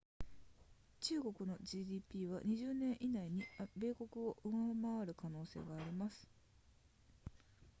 中国の gdp は20年以内に米国を上回る可能性があります